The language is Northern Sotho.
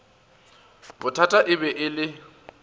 bothata e be e le